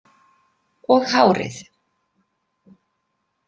Og hárið.